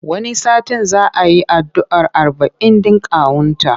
Wani satin za a yi addu'ar arba'in ɗin kawunta.